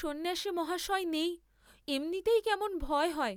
সন্ন্যাসীমশয় নেই, অমনিতেই কেমন ভয় হয়।